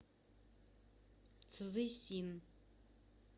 цзысин